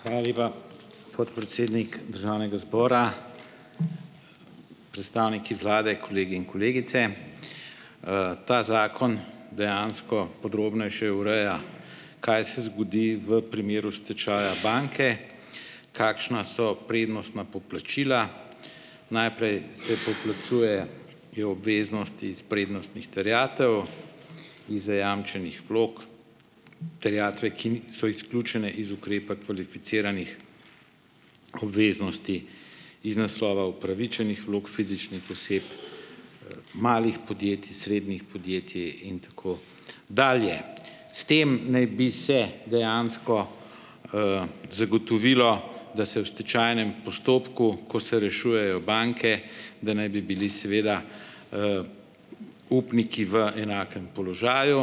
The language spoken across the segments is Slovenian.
Hvala lepa, podpredsednik državnega zbora. Predstavniki vlade, kolegi in kolegice! Ta zakon dejansko podrobnejše ureja, kaj se zgodi v primeru stečaja banke, kakšna so prednostna poplačila. Najprej se poplačujejo obveznosti iz prednostnih terjatev, iz zajamčenih vlog, terjatve, ki ni so izključene iz ukrepa kvalificiranih obveznosti, iz naslova upravičenih vlog fizičnih oseb, malih podjetij, srednjih podjetij in tako dalje. S tem naj bi se dejansko, zagotovilo, da se v stečajnem postopku, ko se rešujejo banke, da naj bi bili seveda, upniki v enakem položaju.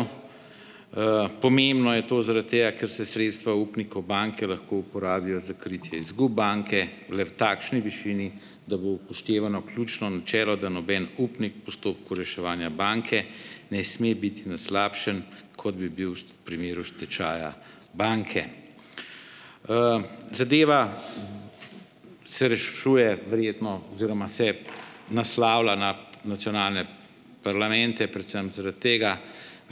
Pomembno je to zaradi tega, ker se sredstva upnikov banke lahko uporabljajo za kritje izgub banke le v takšni višini, da bo upoštevano ključno načelo, da noben upnik postopku reševanja banke ne sme biti na slabšem, kot bi bil v primeru stečaja banke. Zadeva se rešuje verjetno oziroma se naslavlja na nacionalne parlamente predvsem zaradi tega,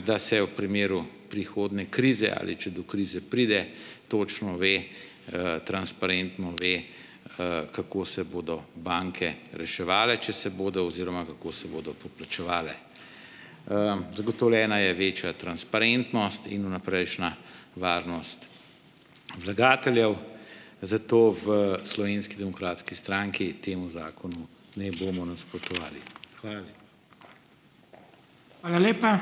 da se v primeru prihodnje krize, ali če do krize pride, točno ve, transparentno ve, kako se bodo banke reševali, če se bodo oziroma kako se bodo poplačevale. Zagotovljena je večja transparentnost in vnaprejšnja varnost vlagateljev, zato v Slovenski demokratski stranki temu zakonu ne bomo nasprotovali. Hvala